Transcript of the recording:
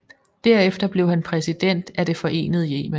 Derefter blev han præsident af det forenede Yemen